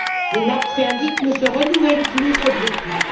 Les nappes phréatiques ne se renouvellent plus, faute de pluie.